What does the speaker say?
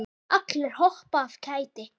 Allir hoppa af kæti.